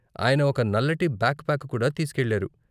ఆయన ఒక నల్లటి బ్యాక్ ప్యాక్ కూడా తీసుకెళ్లారు.